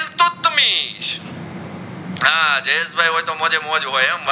જયેશ ભાઈ હોય તો મોજેમોજ હોય હો